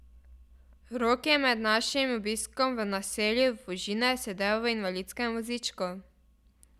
Rok je med našim obiskom v naselju Fužine sedel v invalidskem vozičku.